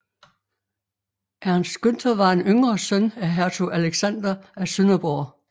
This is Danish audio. Ernst Günther var en yngre søn af hertug Alexander af Sønderborg